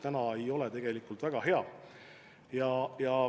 Praegu see ei ole tegelikult väga hea.